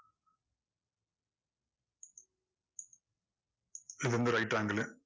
so இது வந்து right angle உ